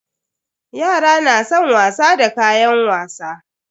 Yara na san wasa da kayan wasa.